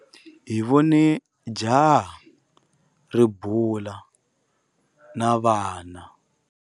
Hi vone jaha ri bula na vana.